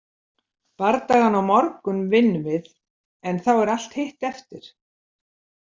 Bardagann á morgun vinnum við en þá er allt hitt eftir.